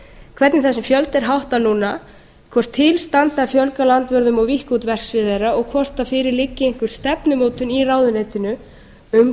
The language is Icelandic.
hvernig þessum fjölda er háttað núna hvort til standi að fjölga landvörðum og víkka út verksvið þeirra og hvort fyrir liggi einhver stefnumótun í ráðuneytinu um